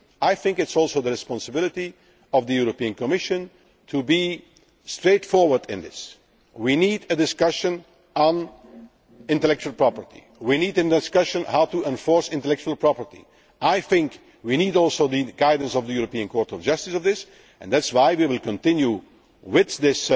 democratic responsibility. I think it is also the responsibility of the European Commission to be straightforward in this. We need a discussion on intellectual property we need a discussion on how to enforce intellectual property. I think also we need the guidance of the European Court of Justice on this. That